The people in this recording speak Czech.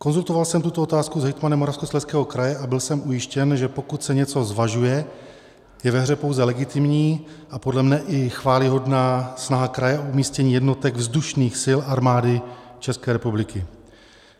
Konzultoval jsem tuto otázku s hejtmanem Moravskoslezského kraje a byl jsem ujištěn, že pokud se něco zvažuje, je ve hře pouze legitimní a podle mne i chvályhodná snaha kraje o umístění jednotek vzdušných sil Armády České republiky.